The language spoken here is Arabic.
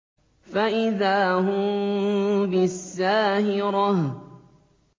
فَإِذَا هُم بِالسَّاهِرَةِ